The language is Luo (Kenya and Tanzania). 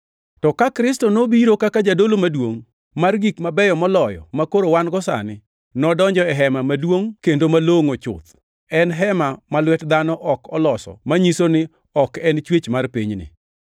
To ka Kristo nobiro kaka jadolo maduongʼ mar gik mabeyo moloyo makoro wan-go sani, nodonjo e hema maduongʼ kendo malongʼo chuth. En hema ma lwet dhano ok oloso manyiso ni ok en chwech mar pinyni.